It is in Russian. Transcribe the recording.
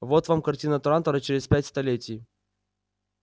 вот вам картина трантора через пять столетий